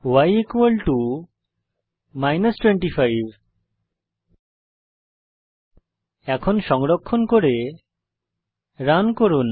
y 25 এখন সংরক্ষণ করে রান করুন